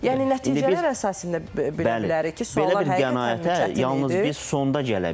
Yəni nəticələr əsasında bilə bilərik ki, suallar Bəli, hər Yalnız bir qənaətə yalnız biz sonda gələ bilərik.